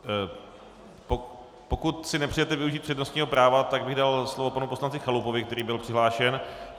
Pokud si nepřejete využít přednostního práva, tak bych dal slovo panu poslanci Chalupovi, který byl přihlášen.